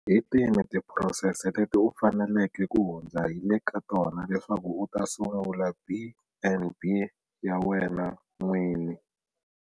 Hi tihi tiphurosese leti u faneleke ku hundza hi le ka tona leswaku u ta sungula B and B ya wena n'wini?